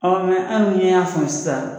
hali n'i y'a san sisan.